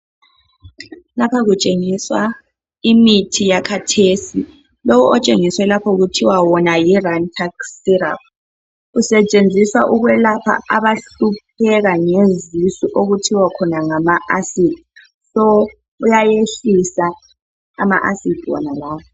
Lapha kutsengiswa imithi yakhathesi lowo otshengiswe lapha kuthowa yi Rantakhi siraphu usetshenziswa ukwelapha abahlupheka ngezisu okuthiwa khona ngama asidi, iyayehlisa ama asidi wonalawa